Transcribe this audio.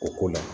O ko la